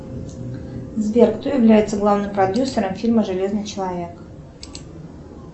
сбер кто является главным продюсером фильма железный человек